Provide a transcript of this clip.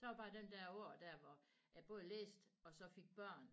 Så var den der år der hvor jeg både læste og så fik børn